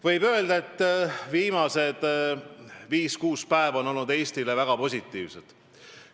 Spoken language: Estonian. Võib öelda, et viimased viis-kuus päeva on olnud Eestile väga positiivsed.